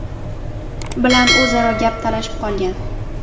bilan o‘zaro gap talashib qolgan.